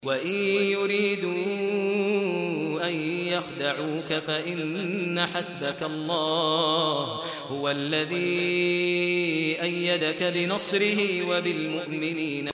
وَإِن يُرِيدُوا أَن يَخْدَعُوكَ فَإِنَّ حَسْبَكَ اللَّهُ ۚ هُوَ الَّذِي أَيَّدَكَ بِنَصْرِهِ وَبِالْمُؤْمِنِينَ